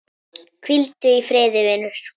Hvíldu í friði vinur.